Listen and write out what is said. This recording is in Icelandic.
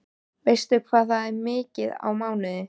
Veistu hvað það er mikið á mánuði?